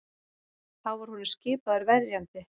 Þá var honum skipaður verjandi